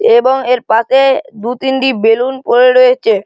এবং এর পাশে দুতিনটি বেলুন পরে রয়েছে।